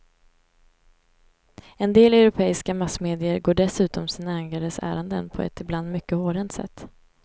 En del europeiska massmedier går dessutom sina ägares ärenden på ett ibland mycket hårdhänt sätt.